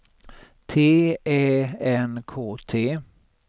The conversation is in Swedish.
T Ä N K T